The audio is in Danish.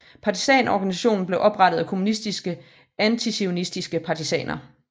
Partisanorganisationen blev oprettet af kommunistiske antizionistiske partisaner